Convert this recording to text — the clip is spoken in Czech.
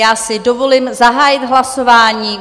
Já si dovolím zahájit hlasování.